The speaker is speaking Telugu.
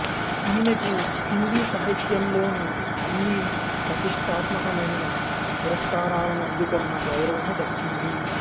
ఈమెకు హిందీ సాహిత్యంలోని అన్ని పతిష్టాత్మకమైన పురస్కారాలను అందుకొన్న గౌరవము దక్కింది